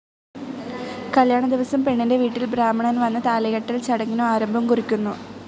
കല്യാണ ദിവസം പെണ്ണിന്റെ വീട്ടിൽ ബ്രാഹ്മണൻ വന്ന് താലികെട്ടൽ ചടങ്ങിനു ആരംഭം കുറിക്കുന്നു.